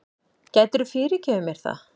Geturðu fyrirgefið mér það?